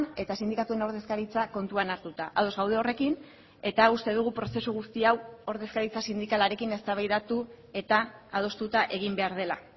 eta sindikatuen ordezkaritza kontuan hartuta ados gaude horrekin eta uste dugu prozesu guzti hau ordezkaritza sindikalarekin eztabaidatu eta adostuta egin behar dela